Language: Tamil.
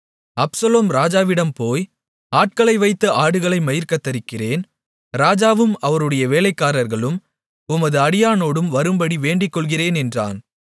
அப்சலோம் ராஜாவிடம் போய் ஆட்களை வைத்து ஆடுகளை மயிர் கத்தரிக்கிறேன் ராஜாவும் அவருடைய வேலைக்காரர்களும் உமது அடியானோடு வரும்படி வேண்டிக்கொள்ளுகிறேன் என்றான்